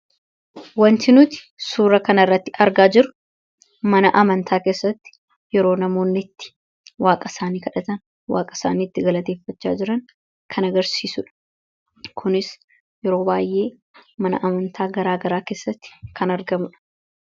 Wanti nuti suuraa kanarratti argaa jirru mana amantaa keessatti yeroo namoonni itti waaqa isaanii kadhatan, waaqa isaanii itti galateeffachaa jiran kan agarsiisuu dha. Kunis yeroo baay'ee mana amantaa garaagaraa keessatti kan argamu dha.